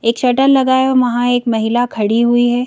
एक शटल लगाया वहाँ एक महिला खड़ी हुई है।